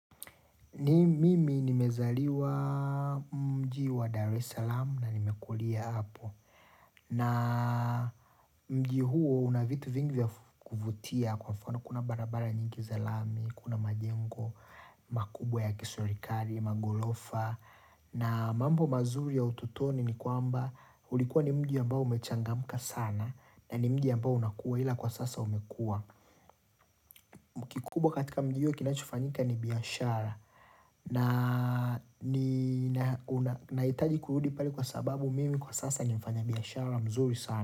Mimi nimezaliwa mji wa Dar es Salaam na nimekulia hapo. Na mji huo unavitu vingi vyaf kuvutia kwa mfano kuna barabara nyingi zalami, kuna majengo, makubwa ya kisurikari, magolofa. Na mambo mazuri ya ututoni ni kwamba ulikuwa ni mji ambao umechangamka sana na ni mji ambao unakua ila kwa sasa umekua. Kubwa katika mji iyo kinachofanyika ni biashara na itaji kurudi pale kwa sababu mimi kwa sasa ni mfanya biashara mzuri sana.